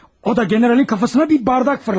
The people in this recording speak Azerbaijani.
O da generalın başına bir stəkan atmış.